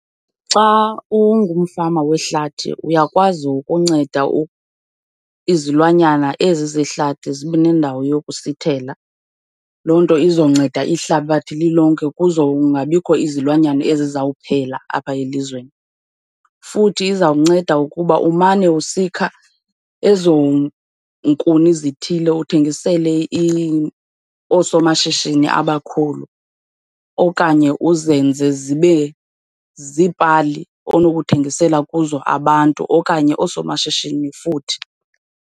Xa ungumfama wehlathi uyakwazi ukunceda izilwanyana ezi zehlathi zibe nendawo yokusithela. Loo nto izonceda ihlabathi lilonke kuzongabikho izilwanyana ezizawuphela apha elizweni. Futhi izawunceda ukuba umane usikha ezo nkuni zithile uthengisele oosomashishini abakhulu okanye uzenze zibe ziipali onokuthengisela kuzo abantu okanye oosomashishini futhi.